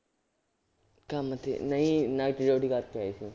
ਕੰਮ ਤੇ ਨਹੀਂ night duty ਕਰਕੇ ਆਏ ਸੀ